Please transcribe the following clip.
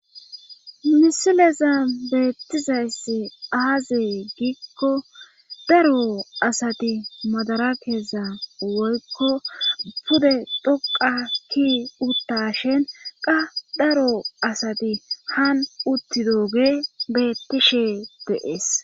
Misileza beettizayssi aaziy giikko daro asati madara keeza woykko pude dhoqa ki utta shin qa daro asati han uttidooge bettishe deees